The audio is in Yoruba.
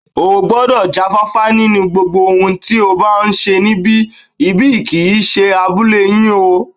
O gbọ́dọ̀ já fáfá nínú gbogbo ohun tí o bá ń ṣe níbi, ibi kì í ṣe abúlé yín o